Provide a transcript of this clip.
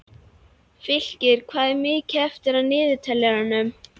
Fylkir, hvað er mikið eftir af niðurteljaranum?